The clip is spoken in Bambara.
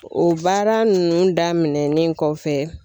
O baara ninnu daminɛnen kɔfɛ